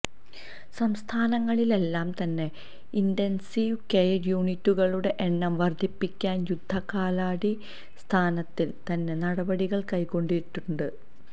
സംസ്ഥാനങ്ങളിലെല്ലാം തന്നെ intensive care യൂണിറ്റുകളുടെ എണ്ണം വർദ്ധിപ്പിക്കാൻ യുദ്ധകാലാടിസ്ഥാനത്തിൽ തന്നെ നടപടികൾ കൈക്കൊണ്ടിട്ടുണ്ട്